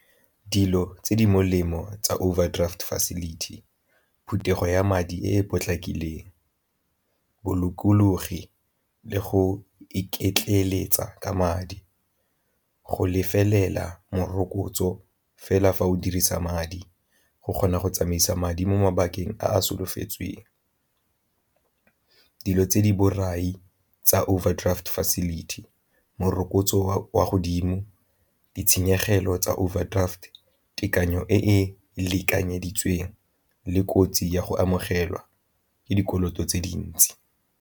Dilo tse di molemo tsa overdraft facility phuthegong ya madi e e potlakileng, bolokologi le go iketleletsa ka madi, go lefelafela morokotso fela fa o dirisa madi go kgona go tsamaisa madi mo mabakeng a solofetsweng. Dilo tse di borai tsa overdraft facility, morokotso wa godimo, ditshenyegelo tsa overdraft tekanyo e e lekanyeditsweng le kotsi ya go amogelwa ke dikoloto tse dintsi.